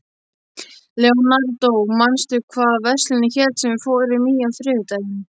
Leonardó, manstu hvað verslunin hét sem við fórum í á þriðjudaginn?